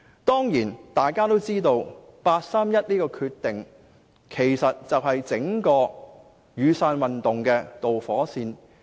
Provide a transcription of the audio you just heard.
大家也知道八三一的決定，正是引發整個"雨傘運動"的導火線。